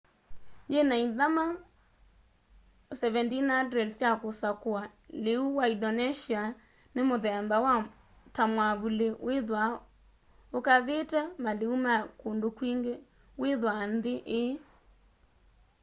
yina ithama 17,000 sya kusakua liu wa indonesia ni muthemba ta mwavuli withwaa ukavite maliu ma kundu kwingi withwaa nthi ii